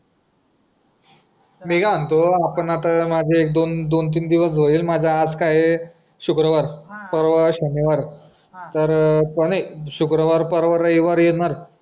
मी काय म्हणतो आपण आता माझं एक दोन दोन तीन दिवस होईल माझं आज काय आहे शुक्रवार पर्वा शनिवार तर पणे शुक्रवार परवा रविवार येणार